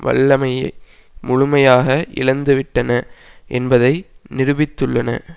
வல்லமையை முழுமையாக இழந்து விட்டன என்பதை நிரூபித்துள்ளன